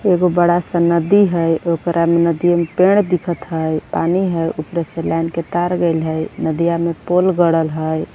एगो बड़ा सा नदी हैं ओकरा में नदिए में पेड़ दिखत हैं पानी है ऊपर से लाइन के तार गइल है नदिया मे पोल गड़ल है